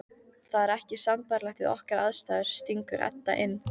Það er ekki sambærilegt við okkar aðstæður, stingur Edda inn.